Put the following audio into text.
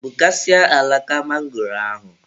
Gbukasịaa alaka mangoro ahụ.